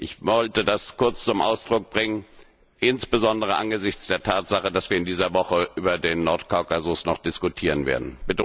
Ich wollte das kurz zum Ausdruck bringen, insbesondere angesichts der Tatsache, dass wir in dieser Woche noch über den Nordkaukasus diskutieren werden.